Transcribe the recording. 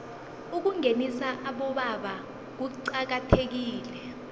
ukungenisa abobaba kuqakathekile